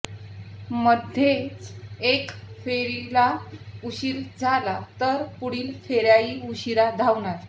मध्येच एका फेरीला उशीर झाला तर पुढील फेऱ्याही उशिरा धावणार